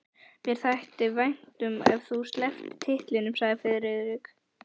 Mér þætti vænt um ef þú slepptir titlinum sagði Friðrik.